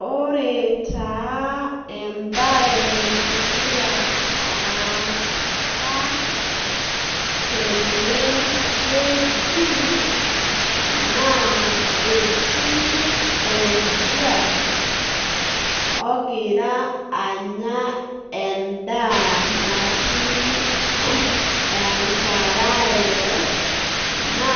Ore taa embae nagira aasa tenewueji na etii oldia ogira anya endaa natii enkarae na